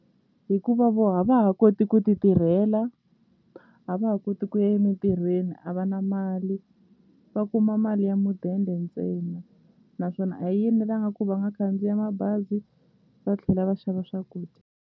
Hikuva vo a va ha koti ku ti tirhela a va ha koti ku ya emintirhweni a va na mali va kuma mali ya mudende ntsena naswona a yi enelanga ku va nga khandziya mabazi va tlhela va xava swakudya.